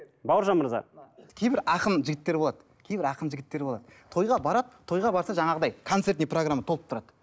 бауыржан мырза кейбір ақын жігіттер болады кейбір ақын жігіттер болады тойға барады тойға барса жаңағыдай концертный программа толып тұрады